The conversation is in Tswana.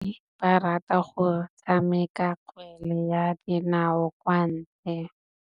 Basimane ba rata go tshameka kgwele ya dinaô kwa ntle.